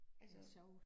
Altså